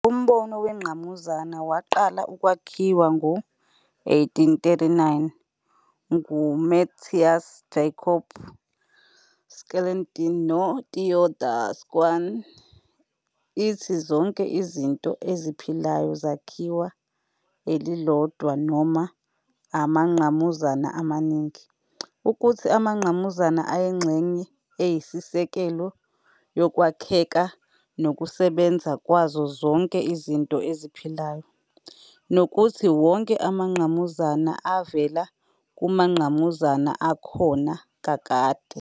Umbono wengqamuzana, waqala ukwakhiwa ngo-1839 nguMatthias Jakob Schleiden noTheodor Schwann, ithi zonke izinto eziphilayo zakhiwa elilodwa noma amangqamuzana amaningi, ukuthi amangqamuzana ayingxenye eyisisekelo yokwakheka nokusebenza kwazo zonke izinto eziphilayo, nokuthi wonke amangqamuzana avela kumangqamuzana akhona kakade.